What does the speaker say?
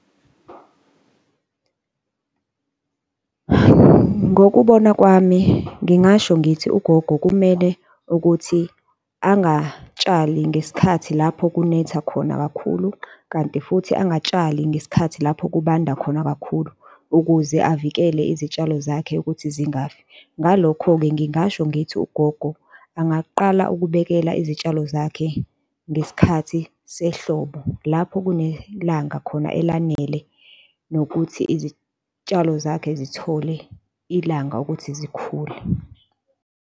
Ngokubona kwami ngingasho ngithi ugogo kumele ukuthi angatshali ngesikhathi lapho kunetha khona kakhulu kanti futhi angatshali ngesikhathi lapho kubanda khona kakhulu ukuze avikele izitshalo zakhe ukuthi zingafiki. Ngalokho-ke ngingasho ngithi ugogo angaqala ukubhekela izitshalo zakhe ngesikhathi sehlobo, lapho kunelanga khona elanele nokuthi izitshalo zakhe zithole ilanga ukuthi zikhule.